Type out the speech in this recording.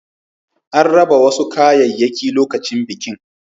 An raba wasu kayayyaki lokacin bikin.